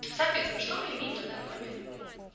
соответственно что мы имеем на данный момент